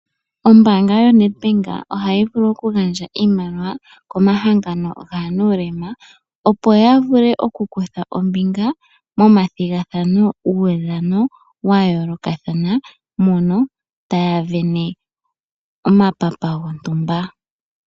Ombanga yaNed Bank oha yi vulu okugandja iimaliwa komahangano gaanulema ,opo ya vule okukutha ombinga momathigathano guudhano wa yoolokathana mono taya sindana omapapa gontumba.